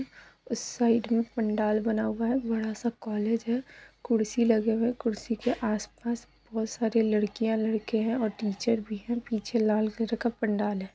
उस साइड में पंडाल बना हुआ है बड़ा सा कॉलेज है कुर्सी लगी हुई है कुर्सी के आस-पास बहौत सारे लड़कियां-लड़के हैं और टीचर भी है पीछे लाल कलर का पंडाल है।